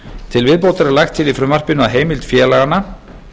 til viðbótar er lagt til í frumvarpinu að heimild félaganna